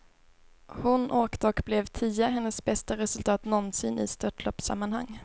Hon åkte och blev tia, hennes bästa resultat någonsin i störtloppssammanhang.